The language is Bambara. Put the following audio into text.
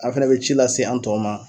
A fɛnɛ bɛ ci lase an tɔw ma.